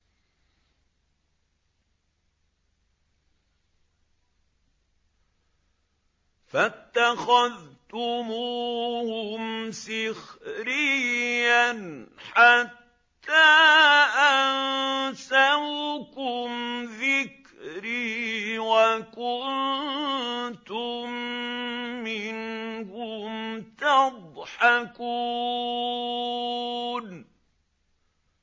فَاتَّخَذْتُمُوهُمْ سِخْرِيًّا حَتَّىٰ أَنسَوْكُمْ ذِكْرِي وَكُنتُم مِّنْهُمْ تَضْحَكُونَ